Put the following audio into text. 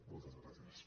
moltes gràcies